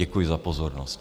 Děkuji za pozornost.